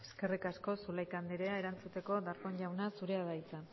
eskerrik asko zulaika anderea erantzuteko darpón jauna zurea da hitza